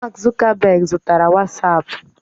Mark Zuckerberg zụtara wasapu